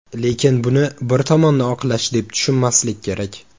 Lekin buni bir tomonni oqlash deb tushunmaslik kerak.